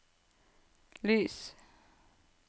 lys